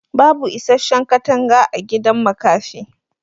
bubu isasshen katanga agidan makafi